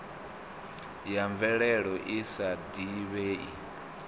ya mvelelo i sa divhei